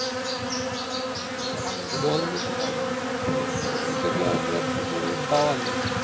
যারা মধু সংগ্রহ করে নাকি ওটাকে আমরা বলি বাওয়ালি